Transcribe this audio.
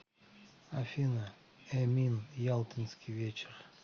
афина эмин ялтинский вечер